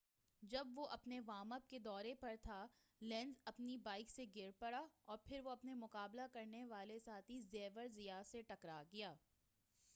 جب وہ اپنے وارم اپ کے دورہ پر تھا لینز اپنی بائک سے گر پڑا اور پھر وہ اپنے مقابلہ کرنے والے ساتھی زیویر زیات سے ٹکرا گیا